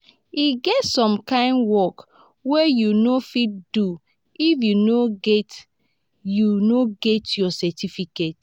e get some kind work wey you no fit do if you no get you no get your certificate.